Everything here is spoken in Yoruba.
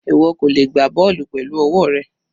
Ìwọ kò lè gbá bọ́ọ̀lù pẹ̀lú ọwọ́ rẹ.